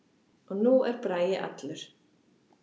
Og nú er Bragi allur.